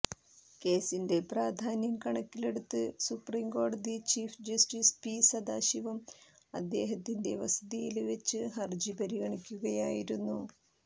കേസിന്റെ പ്രാധാന്യം കണക്കിലെടുത്ത് സുപ്രീം കോടതി ചീഫ് ജസ്റ്റിസ് പി സദാശിവം അദ്ദേഹത്തിന്റെ വസതിയില് വെച്ച് ഹരജി പരിഗണിക്കുകയായിരുന്നു